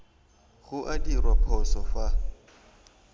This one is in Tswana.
go a dirwa phoso fa